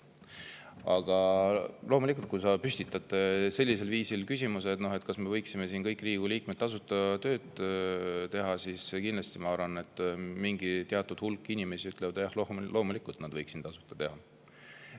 Aga kui sa püstitad sellisel viisil küsimuse, kas me kõik siin, Riigikogu liikmed, võiksime tasuta tööd teha, siis ma arvan, et teatud hulk inimesi kindlasti ütleb, et jah, loomulikult võiksid nad seda tasuta teha.